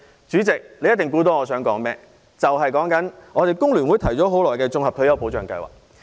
主席，你一定猜到，我想說工聯會提出的綜合退休保障計劃。